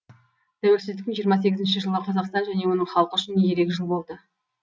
тәуелсіздіктің жиырма сегізінші жылы қазақстан және оның халқы үшін ерек жыл болды